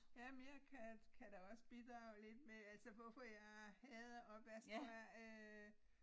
Ja men jeg kan kan da også bidrage lidt med altså hvorfor jeg hader opvask tror jeg øh